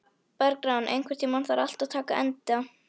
Bergrán, einhvern tímann þarf allt að taka enda.